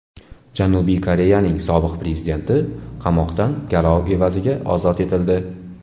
Janubiy Koreyaning sobiq prezidenti qamoqdan garov evaziga ozod etildi.